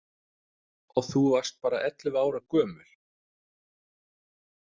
Og þú varst bara ellefu ára gömul.